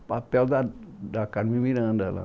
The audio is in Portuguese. o papel da da Carmen Miranda lá.